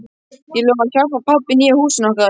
Ég lofaði að hjálpa pabba í nýja húsinu okkar.